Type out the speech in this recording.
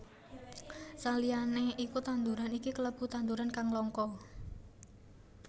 Saliyané iku tanduran iki kalebu tanduran kang langka